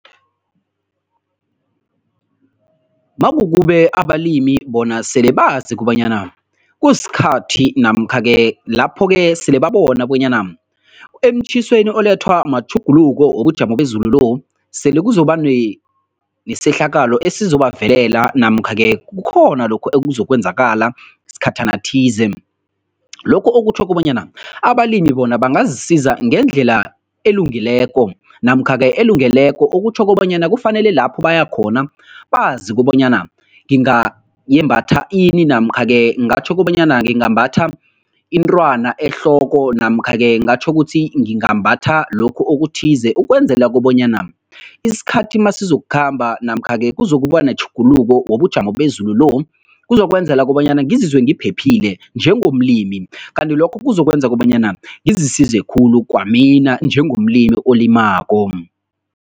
Makube abalimi bona sele bazi kobanyana kusikhathi namkha-ke lapho-ke sele babona bonyana emtjhisweni olethwa matjhuguluko wobujamo bezulu lo, sele kuzoba nesehlakalo esizobavelela namkha-ke kukhona lokhu okuzokwenzakala sikhathana thize. Lokhu okutjho kobanyana abalimi bona bangazisiza ngendlela elungileko namkha-ke elungeleko okutjho kobanyana kufanele lapho bayakhona bazi kobanyana ngingayembatha ini namkha-ke ngingatjho kobanyana ngingambatha intwana ehloko namkha-ke ngatjho kuthi ngingambatha lokhu okuthize ukwenzela kobanyana isikhathi masizokukhamba namkha-ke kuzokuba netjhuguluko wobujamo bezulu lo, kuzokwenzela kobanyana ngizizwe ngiphephile njengomlimi kanti lokho kuzokwenza kobanyana ngizisize khulu kwamina njengomlimi olimako.